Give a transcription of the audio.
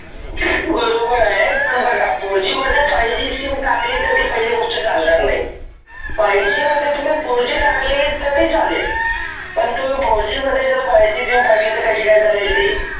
बरोबर आहे पण बघा fourG मध्ये fiveGsim टाकली तर पहिली गोष्ट चालणार नाही. fiveG मध्ये fourG टाकली तर ते चालेल. fourGsim टाकली तर कशी चालेल. fiveGsim कशी काय चालणार आहे.